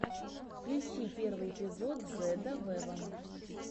включи первый эпизод зедда вево